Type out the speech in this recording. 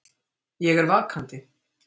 Ég er vakandi.